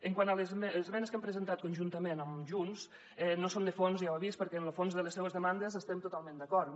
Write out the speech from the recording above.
quant a les esmenes que hem presentat conjuntament amb junts no son de fons ja ho heu vist perquè amb lo fons de les seves demandes hi estem totalment d’acord